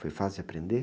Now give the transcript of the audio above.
Foi fácil aprender?